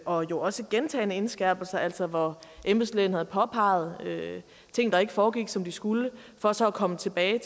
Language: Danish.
og jo også gentagne indskærpelser altså hvor embedslægen havde påpeget ting der ikke foregik som de skulle for så at komme tilbage